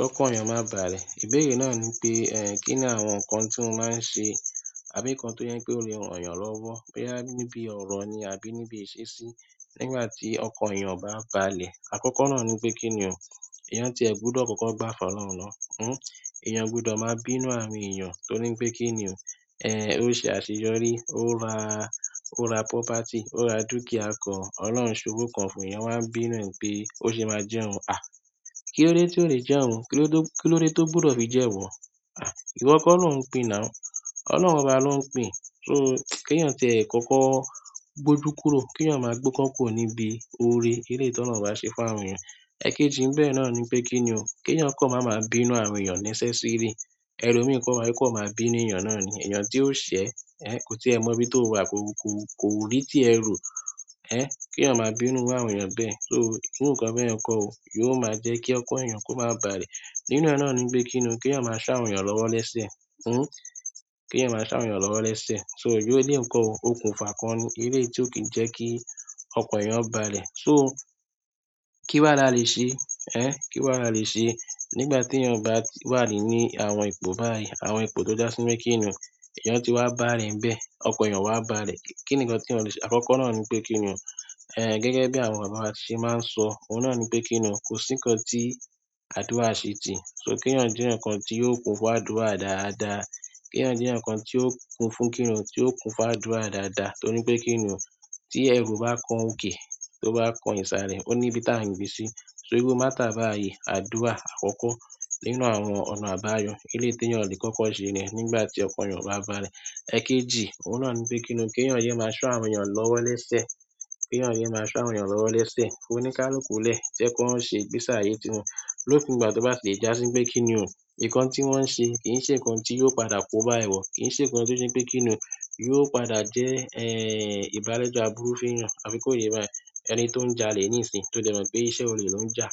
Kọ́kan eyàn má bàlẹ̀. Ìbéèrè náà ni pé, kí ni àwọn nǹkan tí mo máa ń ṣe àbí nǹkan tó jẹ pé ó lè ran eyàn lọ́wọ́, bóyá níbi ọ̀rọ̀ ni àbí níbi ìṣesí nígbà tí ọkan eyàn o bá bàlẹ̀. Àkọ́kọ́ náà ni pé kí ni ò, èèyàn tí ẹ gbúdọ̀ kọ́kọ́ gbá fọlọ́hun na. Èèyàn o gbúdọ̀ máa bínú àwọn èèyàn torí pé kí ni ò, eh, ó ṣe àṣeyọrí, ó ra, ó ra property, ó ra dúkìá kan, Ọlọ́run ṣòwò kan fún èèyàn wá n bínú e n pé ó ṣe máa jẹ oun. Kí ló dé tí ò lè jẹ oun? Kí ló dé, kí ló dé tó gbúdọ̀ fi jẹ iwò? Ìwọ kọ́ ló ń pìn now. Ọlọ́run oba ló ń pìn. So kí èèyàn tiẹ kọ́kọ́ gbójú kúrò, kí èèyàn máa gbọ́kan kùro níbi ọ̀rẹ́ eleyi tí Ọlọ́run bá ṣe fún àwọn èèyàn. Ẹ̀keji n bẹ̀ẹ̀ náà ni pé kí ni ò, kí èèyàn kan máa ma bínú àwọn èèyàn unnecessarily. Ẹ̀lomí kan wá, yóò kan máa bí nu èèyàn náà ni. Èèyàn tí ó ṣẹ̀, ko tí ẹ mọ bí tó wà ko ko kò rí tí ẹ ro. Kí èèyàn máa bínú iru àwọn èèyàn bẹ́ẹ̀. So irú nǹkan bẹ́yẹ̀n kọ́ o, yóò máa jẹ́ kí ọk an èèyàn kó má bàlẹ̀. Nínú e náà nipe kini o, ki eyan maa so àwọn eyan lowo lese kí èèyàn máa ṣá àwọn èèyàn lọ́wọ́ lẹ́sẹ̀. So irú eléyi n ko ò, òkun fà kan ni eléyi tí ó kí ń jẹ́ kí ọkan èèyàn ó bàlẹ̀. So kí wàá la lè ṣe? Kí wàá la lè ṣe nígbà tí èèyàn bá wà ní àwọn ipò báyìí, àwọn ipò tó já sí pé kí ni ò, èèyàn ti wá bàra ẹ̀ níbẹ̀, ọkan èèyàn o wá bàlẹ̀. Kí ni nǹkan tí eyan lè ṣe? Àkọ́kọ́ náà ni pé kí ni ò, gẹ́gẹ́ bí àwọn bàbá wa ṣe máa ń sọ, ohun náà ni pé kí ni ò, kò sí nǹkan tí àdúrà ṣe ti. So kí èèyàn jẹ́ enikan tí yóò kun fún àdúrà dáadáa. Kí èèyàn jẹ́ nǹkan tí ó kun fún kí ni ò, tí ó kun fún àdúrà dáadáa torí pé kí ni ò, tí ẹrù bá kan òkè, tó bá kan ìsàlẹ̀, ó ní ibi tá ń gbé sí. So iru matter bayi, àdúrà àkọ́kọ́ nínú àwọn ọ̀nà àbáyọ, eléyi tí èèyàn lè kọ́kọ́ ṣe niyen nígbà tí ọkan èèyàn o bá bàlẹ̀. Ẹ̀keji, ohun náà ni pé kí ni ò, kí èèyàn yẹ máa so àwọn èèyàn lọ́wọ́ lẹ́sẹ̀. Kí èèyàn yẹ máa ṣá àwọn èèyàn lọ́wọ́ lẹ́sẹ̀. Fi oníkáluku lẹ̀, jẹ́ ki won ṣe ìgbésí àyè ti won. Lokuu ìgbà to ba ti le jásí pe kini o, nkan ti won n se kii se nkan ti yóò padà koba iwo, kii se nkan ti o je pe kini o, yóò padà je ibalejo aburu fún eeyan àbí ko ye báyìí. Ẹni tó ń jalè níìsín, tó dẹ̀ mọ̀ pé iṣẹ́ olè ló ń jà,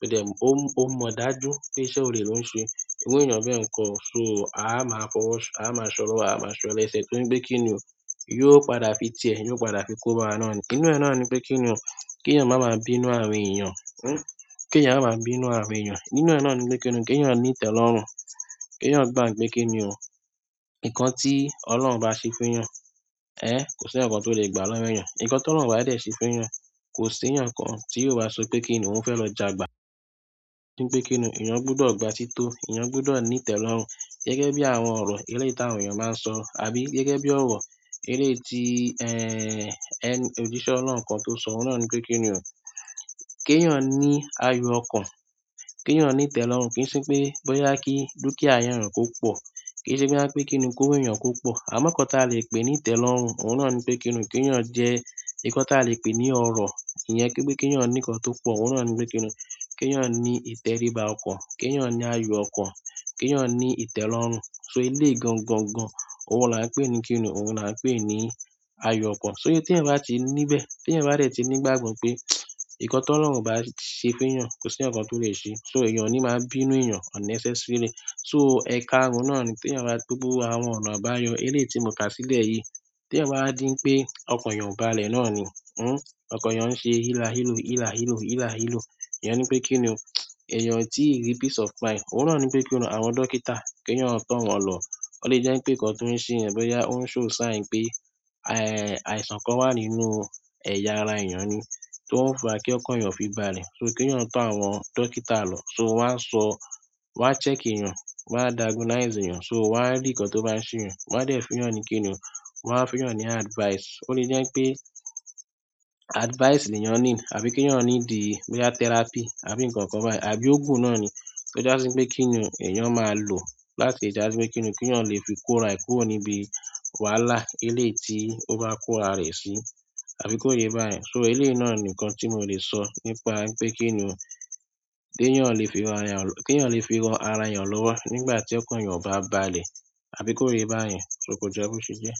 tó dẹ̀ mọ̀, ó mọ̀ dájú pé iṣẹ́ olè ló ń ṣe, irú èèyàn bẹ́yẹ̀n ko o. So a máa fọwọ́, a máa ṣọlowọ́, a máa ṣọ lẹ́sẹ̀ torí pé kí ni ò, yóò padà fi tiẹ̀, yóò padà fi kóba wa náà ni. Inú ẹ náà ni pé kí ni ò, kí èèyàn máa máa bínú àwọn èèyàn. Kí èèyàn ma máa bínú àwọn èèyàn. Nínú ẹ náà ni pé kí ni ò, kí èèyàn ní ìtẹ́lọ́rùn. Kí èèyàn gbà pé kí ni ò, nǹkan tí Ọlọ́run bá ṣe fún èèyàn, kò sí eyan kàn tó lè gbà lọ́wo èèyàn. Ǹǹkan tí Ọlọ́run o bá dẹ̀ ṣe fún èèyàn, kò sí èèyàn kan tí yóò bá sọ pé kí ni ò, ó fẹ́ lọ jagbà. Ní pé kí ni ò, èèyàn gbúdọ̀ gba tí tó, èèyàn gbúdọ̀ ní ìtẹ́lọ́rùn. Gẹ́gẹ́ bi àwọn oro eleyi ti àwọn eeyan ba n so àbí gẹ́gẹ́ bi oro eleyi ti ojise ọlọ́run kan to so oun náà ni pe kini o, ki eeyan ni ayo okan, ki eyan ni ìtẹ́lọ́rùn kì í ṣe pé bóyá kí dúkìá èèyàn kó pọ̀, kì í ṣe boya pé kí ni ò, kówo èèyàn kó pọ̀. Àmọ́ nǹkan tí a lè pè ní ìtẹ́lọ́rùn, ohun náà ni pé kí ni ò, kí èèyàn jẹ́ nǹkan tí a lè pè ní ọrọ̀ ìyẹn, kí pé kí èèyàn ní nǹkan tó pọ̀, ohun náà ni pé kí ni ò, kí èèyàn ní ìtẹríba ọkàn, kí èèyàn ní ayọ̀ ọkàn, kí èèyàn ní ìtẹ́lọ́rùn. So eléyi gangan gan, ohun la ń pè ní kí ni ò, ohun la ń pè ní ayọ̀ ọkàn. So tí ẹ̀ bá ti níbẹ̀, tí eyan bá dẹ̀ ti nígbàgbọ́ pé nkan tí Ọlọ́run o bá ṣe fún èèyàn, kò sí eyan kan tó lè ṣe. So èèyàn ò ní máa bínú èèyàn unnecessarily. So ẹka oun náà ni tí èèyàn bá gbogbọ̀ àwọn ọ̀nà àbáyọ eléyi tí mo kà sílẹ̀ yìí, tí èèyàn bá díń pé ọkan èèyàn o bàlẹ̀ náà ni, ọkan èèyàn ń ṣe hila hilo, hila hilo, hila hilo. Iyen ni pe kini o, eyan o tii ni peace of mind, ohun náà ni pe kini o, àwọn dókítà, ki eeyan to won lo. Ó lè jẹ́ pé nǹkan tó ń ṣe èèyàn boya ó ń show sign pé, àìsàn kan wà nínú ẹ̀yà ara èèyàn ni tó ń fa kí ọkan èèyàn o fi bàlẹ̀. So kí èèyàn tọ́ àwọn dókítà lọ. So wọ́n á sọ, wọ́n á check èèyàn, wọ́n á diagnose èèyàn. So wọ́n á rí nǹkan tó bá ń ṣe èèyàn, wọ́n á dẹ̀ fún eyan ni kí ni ò, wọ́n á fún eyan ni advice. Ó lè jẹ́ n pé advice ni èèyàn need àbí kí èèyàn ní dì boyá therapy àbí nǹkan kan báyen, àbí ògùn náà ni tó jà sí pé kí ni ò, èèyàn máa lò láti jà sí pé kí ni ò, kí èèyàn lè fi kó ara e kúrò níbi wàhálà eléyi tí ó bá kó ara rẹ̀ sí, àbí kó yé bá yẹn. So eléyi náà nì nkan tí mo lè sọ nípa pé kí ni ò, té ti ẹ̀yàn lè fi ran ara eyan lowo nígbà ti okan eyan o ba balẹ̀, àbí ko ye yin bayen, ko je bo se je.